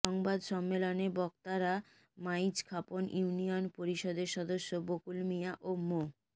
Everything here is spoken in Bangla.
সংবাদ সম্মেলনে বক্তারা মাইজখাপন ইউনিয়ন পরিষদের সদস্য বকুল মিয়া ও মো